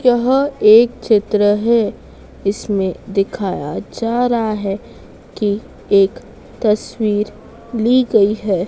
यह एक चित्र है इसमें दिखाया जा रहा है कि एक तस्वीर ली गयी है।